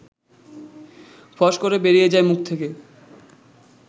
ফস করে বেরিয়ে যায় মুখ থেকে